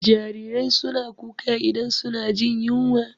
Jarirai suna kuka idan suna jin yunwa.